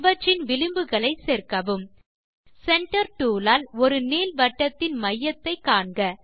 இவற்றின் விளிம்புகளை சேர்க்கவும் சென்டர் டூல் ஆல் ஒரு நீள்வட்டத்தின் மையத்தை காண்க